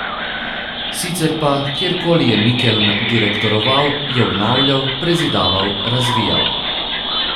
Sicer pa kjer koli je Mikeln direktoroval, je obnavljal, prezidaval, razvijal.